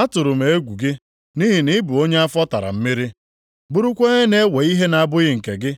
Atụrụ m egwu gị, nʼihi na ị bụ onye afọ tara mmiri, bụrụkwa onye na-ewe ihe na-abụghị nke gị,